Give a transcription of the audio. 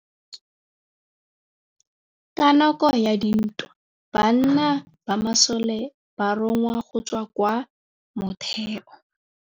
Ka nakô ya dintwa banna ba masole ba rongwa go tswa kwa mothêô.